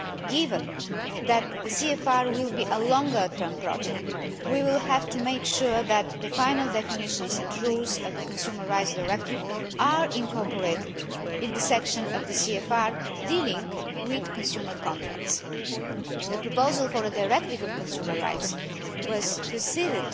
Given that the CFR will be a longer term project, we will have to make sure that the final definitions and rules of the Consumer Rights Directive are incorporated in the section of the CFR dealing with consumer contracts. The proposal for a Directive on Consumer Rights was preceded